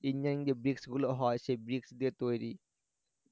গুলো হয় সেই bricks দিয়ে তৈরি